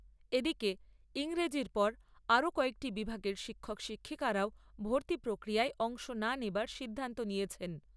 এদিকে, ইংরেজির পর আরও কয়েকটি বিভাগের শিক্ষক শিক্ষিকারও ভর্তি প্রক্রিয়ায় অংশ না নেওয়ার সিদ্ধান্ত নিয়েছেন। জুটা